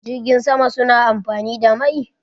Jirgin sama su na amfani da mai?